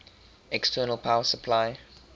external power supply